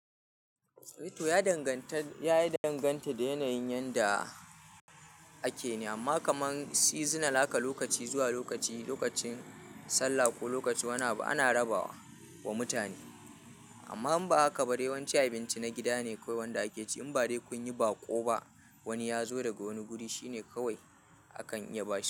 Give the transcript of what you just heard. To ya danganta, ya danganta da yanayin yanda ake ne amma kamar seasonal haka lokaci zuwa lokaci, lokacin sallah ko lokacin wani abu ana rabawa wa mutane. Amma in ba haka ba dai yawanci abinci na gida ne kawai wanda ake ci. In ba dai kun yi baƙo ba wani ya zo daga wani guri, shi ne kawai akan iya bashi.